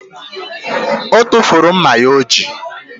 O tufuru mma ya o ji